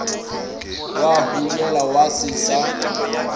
wa hunyela wa se sa